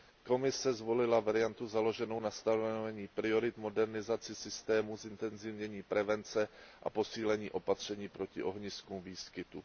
Komise zvolila variantu založenou na stanovení priorit, modernizaci systému, zintenzivnění prevence a posílení opatření proti ohniskům výskytu.